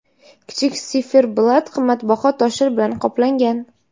Kichik siferblat qimmatbaho toshlar bilan qoplangan.